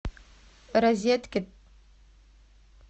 розеткед